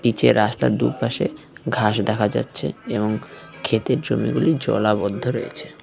যে রাস্তার দুপাশে ঘাস দেখা যাচ্ছে এবং ক্ষেতের জমিগুলি জলাবদ্ধ রয়েছে।